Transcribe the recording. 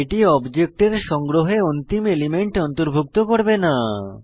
এটি অবজেক্টের সংগ্রহে অন্তিম এলিমেন্ট অন্তর্ভুক্ত করবে না